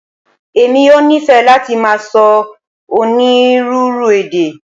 Emi yoo nifẹ lati màá sọ onírúurú èdè.